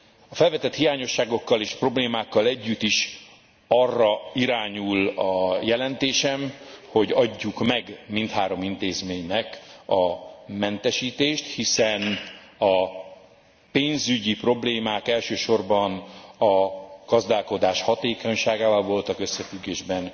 A felvetett hiányosságokkal és problémákkal együtt is arra irányul a jelentésem, hogy adjuk meg mindhárom intézménynek a mentesítést, hiszen a pénzügyi problémák elsősorban a gazdálkodás hatékonyságával voltak összefüggésben.